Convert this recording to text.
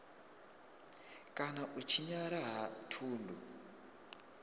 kana u tshinyala ha thundu